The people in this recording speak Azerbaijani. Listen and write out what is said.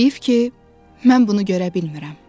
Heyif ki, mən bunu görə bilmirəm.